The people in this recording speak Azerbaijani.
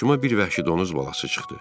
Qarşıma bir vəhşi donuz balası çıxdı.